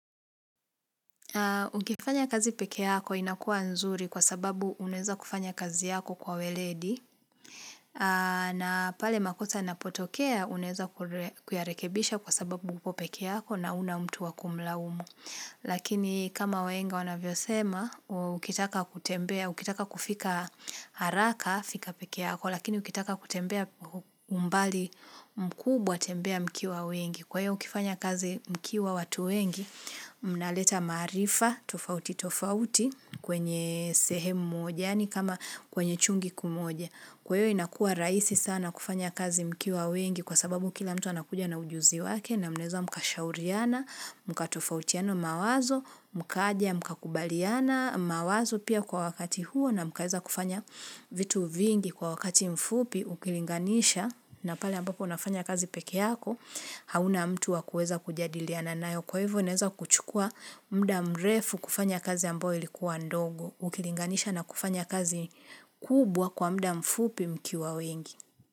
Ukifanya kazi peke yako inakua nzuri kwa sababu uneza kufanya kazi yako kwa welendi na pale makosa ya napotokea uneza kuyarekebisha kwa sababu upo peke yako na una mtu wakumlaumu. Lakini kama wenga wanavyo sema, ukitaka kutembea, ukitaka kufika haraka, fika pekeako Lakini ukitaka kutembea umbali mkubwa tembea mkiwa wengi Kwayvo mkifanya kazi mkiwa watu wengi, mnaleta marifa tofauti tofauti kwenye sehemu mojani kama kwenye chungi kimoja Kwayo inakua raisi sana kufanya kazi mkiwa wengi kwa sababu kila mtu anakuja na ujuzi wake na mneza mkashauriana, mkatofautiano mawazo, mkaia, mkakubaliana, mawazo pia kwa wakati huo na mkaeza kufanya vitu vingi kwa wakati mfupi ukilinganisha na pale ambapo unafanya kazi pekee yako hauna mtu wakueza kujadili ya nanayo kwa hivyo uneza kuchukua mda mrefu kufanya kazi ambo ilikuwa ndogo ukilinganisha na kufanya kazi kubwa kwa mda mfupi mkiwa wengi.